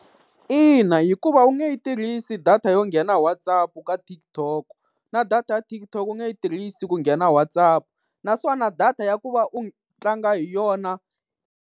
Ina hikuva u nge yi tirhisi data yo nghena WhatsApp ka TikTok, na data ya TikTok u nge yi tirhisi ku nghena WhatsApp. Naswona data ya ku va u tlanga hi yona.